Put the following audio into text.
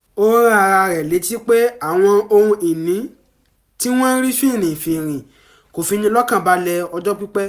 ó rán ara rẹ̀ létí pé àwọn ohun ìní tí wọ́n rí finrinfinrin kò fi ni lọ́kànbalẹ̀ ọjọ́ pípẹ́